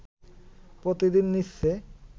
প্রতিদিন নিচ্ছে